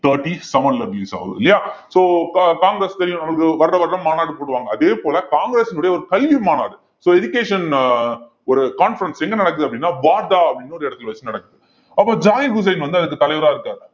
thirty-seven ல release ஆகுது இல்லையா so கா~ காங்கிரஸ் தெரியும் நம்மளுக்கு வருடாவருடம் மாநாடு போடுவாங்க அதே போல காங்கிரஸினுடைய ஒரு கல்வி மாநாடு so education அஹ் ஒரு conference எங்க நடக்குது அப்படின்னா அப்படினு ஒரு இடத்துல வச்சு நடக்குது அப்போ ஜாகிர் உசேன் வந்து அதுக்கு தலைவரா இருக்காரு